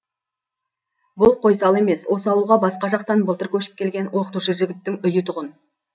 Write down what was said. бұл қойсал емес осы ауылға басқа жақтан былтыр көшіп келген оқытушы жігіттің үйі тұғын